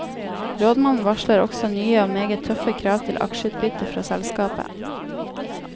Rådmannen varsler også nye og meget tøffe krav til aksjeutbytte fra selskapet.